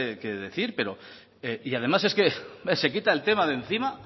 que decir pero y además es que se quita el tema de encima